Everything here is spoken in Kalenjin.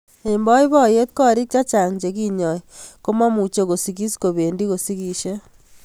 Eng boiboiyet korik chechang che kinyoi komemuchi kosikis kobendi kosiskisie